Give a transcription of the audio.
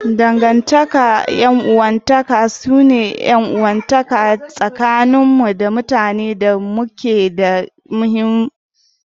Dangantaka ta 'yan uwantaka su ne 'yan uwantaka tsakanin mu da mutanen da muke da kusanci da su.